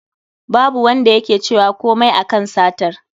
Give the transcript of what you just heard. Babu Wanda yake cewa komai a kan satar